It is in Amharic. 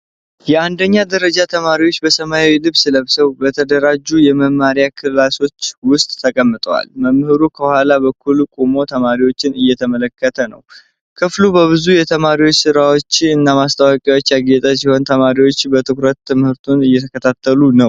የአንደኛ ደረጃ ተማሪዎች በሰማያዊ ልብስ ለብሰው፣ በተደራጁ የመማሪያ ክፍሎች ውስጥ ተቀምጠዋል። መምህሩ ከኋላ በኩል ቆሞ ተማሪዎቹን እየተመለከተ ነው። ክፍሉ በብዙ የተማሪ ስራዎችና ማስታወቂያዎች ያጌጠ ሲሆን፣ ተማሪዎቹ በትኩረት ትምህርቱን እየተከታተሉ ነው?